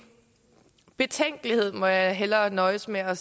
betænkelighed det må jeg hellere nøjes med at